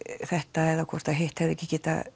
þetta eða hvort hitt hefði ekki